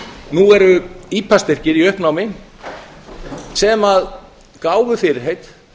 nú eru ipa styrkir í uppnámi sem gáfu fyrirheit